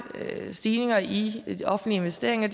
stigninger i de offentlige investeringer